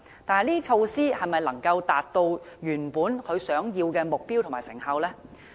但這些措施是否能達致原本的目標和成效呢？